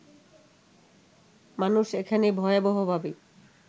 মানুষ এখানে ভয়াবহভাবে